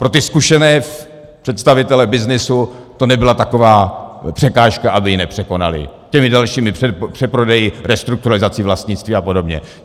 Pro ty zkušené představitele byznysu to nebyla taková překážka, aby ji nepřekonali těmi dalšími přeprodeji, restrukturalizací vlastnictví a podobně.